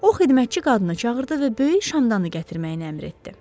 O, xidmətçi qadını çağırdı və böyük şamdanı gətirməyi əmr etdi.